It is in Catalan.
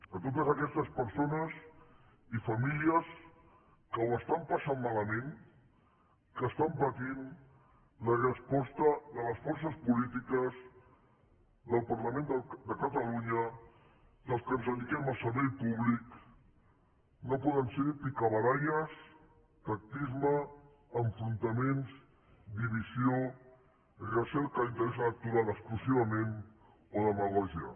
a totes aquestes persones i famílies que ho estan passant malament que estan patint la resposta de les forces polítiques del parlament de catalunya dels que ens dediquem al servei públic no poden ser picabaralles tactisme enfrontaments divisió recerca d’interès electoral exclusivament o demagògia